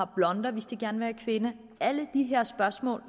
blonder hvis de gerne vil være kvinde alle de her spørgsmål